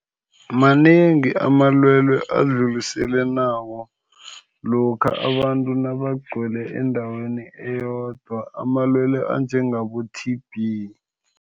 Manengi amalwele adluliselwanako, lokha abantu nabagcwele endaweni eyodwa. Amalwelwe njengabo- T_B.